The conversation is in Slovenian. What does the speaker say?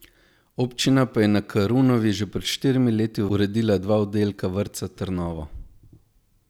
Občina pa je na Karunovi že pred štirimi leti uredila dva oddelka vrtca Trnovo.